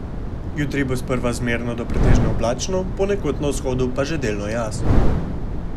Jutri bo sprva zmerno do pretežno oblačno, ponekod na vzhodu pa že delno jasno.